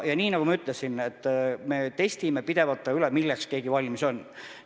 Ja nagu ma ütlesin, et me testime pidevalt üle, milleks keegi valmis on.